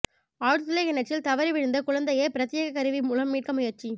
ஆழ்துளைக் கிணற்றில் தவறி விழுந்த குழந்தையை பிரத்யேக கருவி மூலம் மீட்க முயற்சி